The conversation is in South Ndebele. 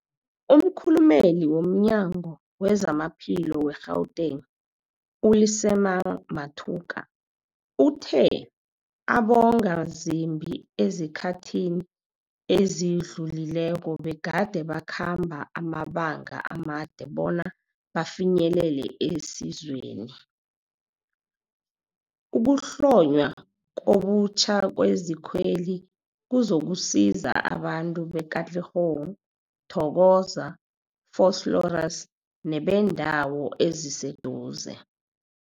Umkhulumeli womNyango weZamaphilo we-Gauteng, u-Lesemang Matuka uthe abongazimbi esikhathini esidlulileko begade bakhamba amabanga amade bona bafinyelele isizweli. Ukuhlonywa ngobutjha kwezikweli kuzokusiza abantu be-Katlehong, Thokoza, Vosloorus nebeendawo eziseduze.